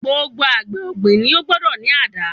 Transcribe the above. Gbogbo àgbẹ̀ ọ̀gbìn ni ó gbọ́dọ̀ ní àdá.